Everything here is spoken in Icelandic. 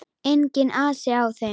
Enginn asi á þeim.